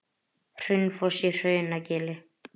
Hraunfoss í Hrunagili.